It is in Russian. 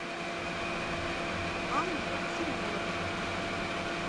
анну семенову